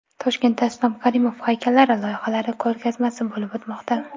Toshkentda Islom Karimov haykallari loyihalari ko‘rgazmasi bo‘lib o‘tmoqda.